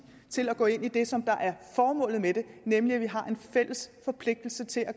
til at gå ind i det som er formålet med det nemlig at vi har en fælles forpligtelse til at